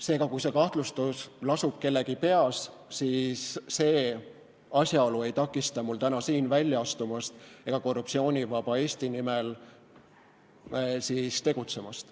Seega, kui kahtlustus lasub kellegi peas, siis see asjaolu ei takista mul täna siin välja astumast ega Korruptsioonivaba Eesti nimel tegutsemast.